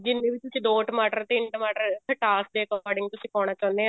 ਜਿੰਨੇ ਵੀ ਤੁਸੀਂ ਦੋ ਟਮਾਟਰ ਤਿੰਨ ਟਮਾਟਰ ਖਟਾਸ ਦੇ according ਤੁਸੀਂ ਪਾਉਣਾ ਚਾਹੁਨੇ